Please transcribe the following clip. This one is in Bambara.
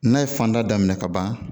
N'a ye fanda daminɛ kaban